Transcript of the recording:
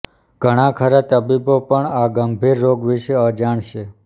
ઘણાંખરાં તબીબો પણ આ ગંભીર રોગ વિશે અજાણ છે